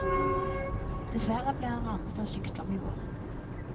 Dessverre ble han rammet av sykdom i vår.